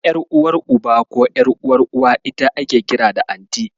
Ƴar'uwar Uba ko ƴar'uwar Uwa ita ake kira da Anti.